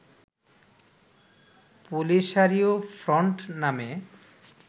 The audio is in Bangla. পোলিসারিও ফ্রন্ট নামে